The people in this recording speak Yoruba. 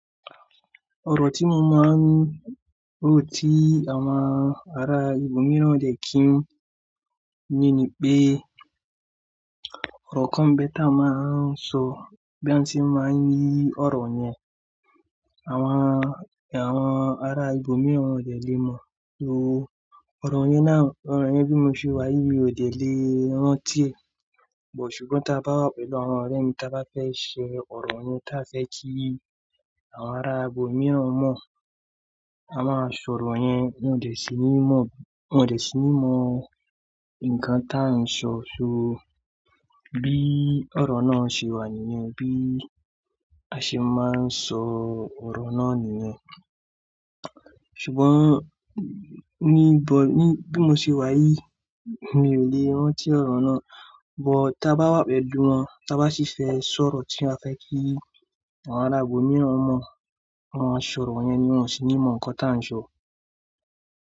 Ọ̀rọ̀ tí mo máa ń ro tí àwọn ará ibòmíràn òdẹ̀ kí n ní ní pé ọ̀rọ̀ kan n bẹ́ ta màá ń sọ bí a ṣe máa ń yí ọ̀rọ̀ yẹn. Àwọn, àwọn ará ibòmíràn òdẹ̀ lè mọ̀ o. Ọ̀rọ̀ yẹn náà, ọ̀rọ̀ yẹn bí mo ṣe wà yìí mi ò lè rántí è. Ṣùgbọ́n tí a bá wà pẹ̀lú àwọn ọ̀rẹ́ mi tí a bá fẹ́ ṣe ọ̀rọ̀ yẹn tí a fẹ́ kí àwọn ará ibòmíràn mọ̀, a máa sọ ọ̀rọ̀ yẹn. Wọn ò dè sì ní mọ̀, wọ́n ò dè sì ní mọ̀ nǹkan tí à ń sọ. So bí ọ̀rọ̀ náà ṣe wà nìyẹn, bí a ṣe máa ń sọ ọ̀rọ̀ náà nìyẹn. Ṣùgbọ́n níbo ní, bí mo ṣe wà yìí mi ò lè rántí ọ̀rọ̀ náà. But tí a bá wà pẹ̀lú wọn tí a bá sì fẹ́ sọ ọ̀rọ̀ tí a fẹ́ kí àwọn ará ibòmíràn mọ̀, a máa sọ ọ̀rọ̀ yẹn, wọ́n ò sì ní mọ̀ nǹkan tí à ń sọ.